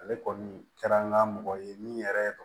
Ale kɔni kɛra an ka mɔgɔ ye min yɛrɛ